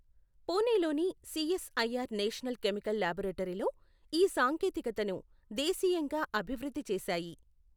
పూణెలోని CSIR national chemical లాబొరేటరీలో ఈ సాంకేతికతను దేశీయంగా అభివృద్ధి చేశాయి.